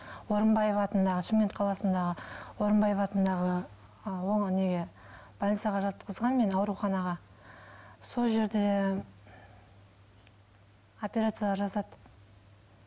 орынбаев атындағы шымкент қаласындағы орынбаев атындағы больницаға жатқызған мені ауруханаға сол жерде операция жасатып